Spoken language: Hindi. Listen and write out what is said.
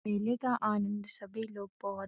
मेले का आनंद सभी लोग बहोत --